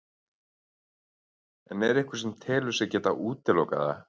En er einhver sem telur sig geta útilokað það?